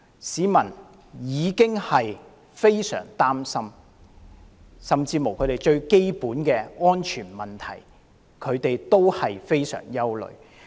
市民深感憂慮，甚至連最基本的安全問題也缺乏保障。